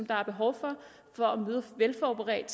der er behov for for at møde velforberedt